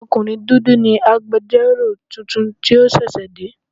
Ọkùnrin dúdú ni agbẹjọ́rò tuntun tí ó ṣẹ̀ṣẹ̀ dé.